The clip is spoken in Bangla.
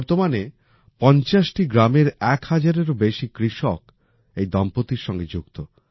বর্তমানে ৫০টি গ্রামের এক হাজারেরও বেশি কৃষক এই দম্পতির সঙ্গে যুক্ত